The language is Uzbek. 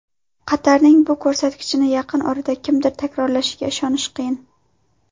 Qatarning bu ko‘rsatkichini yaqin orada kimdir takrorlashiga ishonish qiyin.